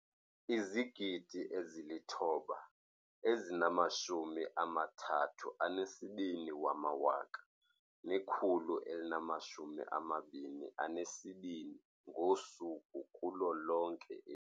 9 032 122 ngosuku kulo lonke eli.